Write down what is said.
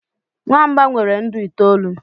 nwamba nwere ndụ itoolu